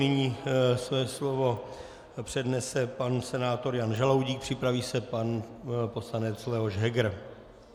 Nyní své slovo přednese pan senátor Jan Žaloudík, připraví se pan poslanec Leoš Heger.